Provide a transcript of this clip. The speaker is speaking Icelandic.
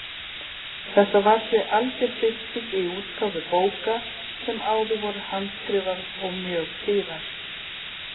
Þetta var því algjör bylting í útgáfu bóka sem áður voru handskrifaðar og mjög dýrar.